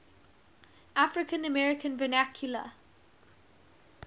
african american vernacular